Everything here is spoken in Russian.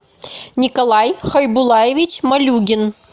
николай хайбулаевич малюгин